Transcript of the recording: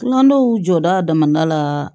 Nga n'o jɔra a damana la